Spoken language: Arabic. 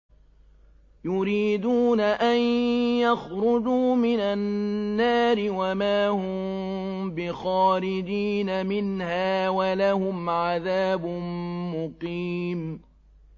يُرِيدُونَ أَن يَخْرُجُوا مِنَ النَّارِ وَمَا هُم بِخَارِجِينَ مِنْهَا ۖ وَلَهُمْ عَذَابٌ مُّقِيمٌ